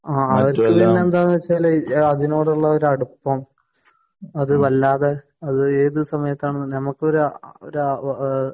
ആഹ് അത് പിന്നെ എന്താണെന്നു വച്ചാൽ അതിനോടുള്ള ഒരു അടുപ്പം അത് വല്ലാതെ അത് ഏതു സമയത്തും